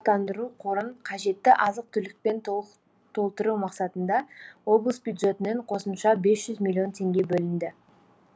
тұрақтандыру қорын қажетті азық түлікпен толтыру мақсатында облыс бюджетінен қосымша бес жүз миллион теңге бөлінді